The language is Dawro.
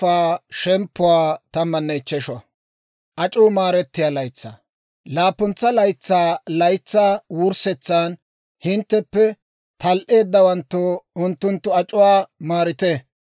«Laappuntsa laytsaa laytsaa wurssetsan hintteppe tal"eeddawanttoo unttunttu ac'uwaa maarite.